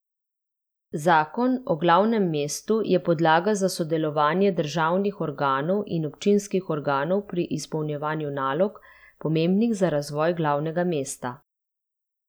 Zakon o glavnem mestu je podlaga za sodelovanje državnih organov in občinskih organov pri izpolnjevanju nalog, pomembnih za razvoj glavnega mesta.